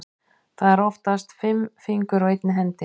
Það eru oftast fimm fingur á einni hendi.